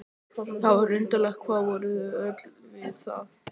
Það var undravert hvað hann var ötull við það.